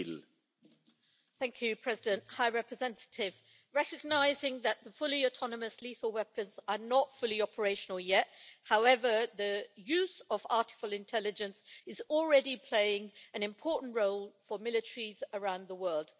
Mr President, recognising that fully autonomous lethal weapons are not fully operational yet, however the use of artificial intelligence is already playing an important role for military around the world.